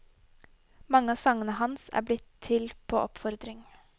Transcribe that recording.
Mange av sangene hans er blitt til på oppfordring.